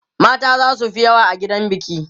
mata zasu Fi yawa a gidan biki